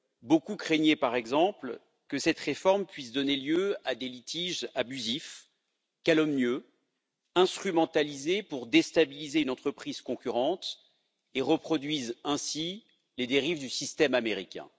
Beaucoup craignaient, par exemple, que cette réforme puisse donner lieu à des litiges abusifs, calomnieux, instrumentalisés pour déstabiliser une entreprise concurrente et reproduise ainsi les dérives du système américain.